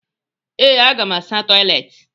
Ee, m ga-asa toịletị.